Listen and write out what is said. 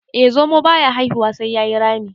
eh zomo. baya haihuwa sai ya yi Rami